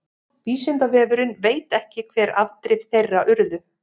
vísindavefurinn veit ekki hver afdrif þeirra urðu